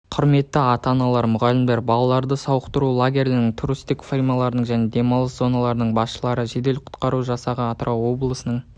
құрметті ата-аналар мұғалімдер балаларды сауықтандыру лагерлерінің туристік фирмалардың және демалыс зоналарының басшылары жедел-құтқару жасағы атырау облысының